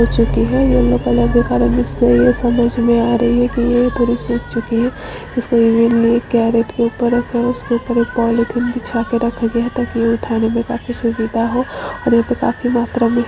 -- हो चुकी है येलो कलर के कारण मिक्स हो गई है समझ मे आ रही है क्यू ये थोड़ी सुख चुकी है इसको इमे लिए केरेट के ऊपर रखा उसके ऊपर पॉलिथीन बिछा के रखा गया है ताकि उठाने मे काफी सुविधा हो ओर यहाँ पे काफी मात्रा मे--